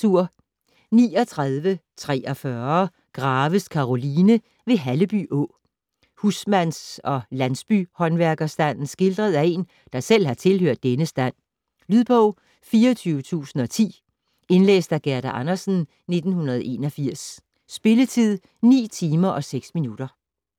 39.43 Graves, Karoline: Ved Halleby Å Husmands- og landsbyhåndværkerstanden skildret af en, der selv har tilhørt denne stand. Lydbog 24010 Indlæst af Gerda Andersen, 1981. Spilletid: 9 timer, 6 minutter.